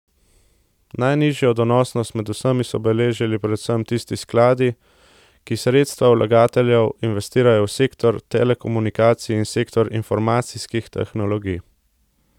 Najnižjo donosnost med vsemi so beležili predvsem tisti skladi, ki sredstva vlagateljev investirajo v sektor telekomunikacij in sektor informacijskih tehnologij.